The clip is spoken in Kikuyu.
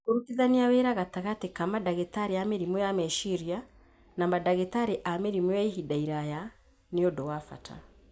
Kũrutithania wĩra gatagatĩ ka mandagĩtarĩ a mĩrimũ ya meciria na mandagĩtarĩ a mĩrimũ ya ihinda iraya nĩ ũndũ wa bata.